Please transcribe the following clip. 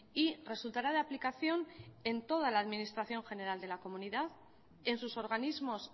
y resultará de aplicación en toda la administración general de la comunidad en sus organismos